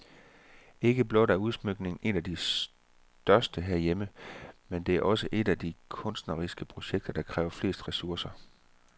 Ikke blot er udsmykningen en af de største herhjemme, men det er også et af de kunstneriske projekter, der har krævet flest ressourcer.